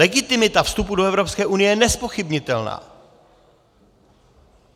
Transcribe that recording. Legitimita vstupu do EU je nezpochybnitelná.